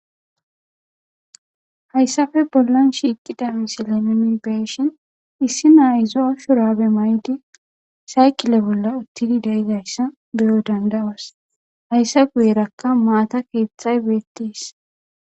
hayssafe bollan shiiqida misileminibeshin issi naayizo shurabe maydi saykile bolla uttidi deidayssa beyo dandawas hayssa guyerakka maata keeththay beettiis